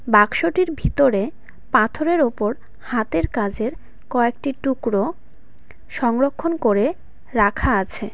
বাক্সটির ভিতরে পাথরের ওপর হাতের কাজের কয়েকটি টুকরো সংরক্ষণ করে রাখা আছে।